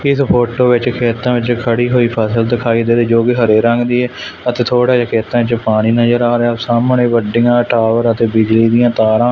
ਇਸ ਫੋਟੋ ਵਿੱਚ ਖੇਤਾਂ ਵਿੱਚ ਖੜੀ ਹੋਈ ਫ਼ਸਲ ਦਿਖਾਈ ਦੇ ਰਹੀ ਜੋ ਕਿ ਹਰੇ ਰੰਗ ਦੀ ਐ ਅਤੇ ਥੋੜ੍ਹਾ ਜਿਹਾ ਖੇਤਾਂ ਵਿੱਚ ਪਾਣੀ ਨਜਰ ਆ ਰਿਹਾ ਐ ਸਾਹਮਣੇ ਗੱਡੀਆਂ ਟਾਇਰ ਅਤੇ ਬਿਜਲੀ ਦੀਆਂ ਤਾਰਾਂ--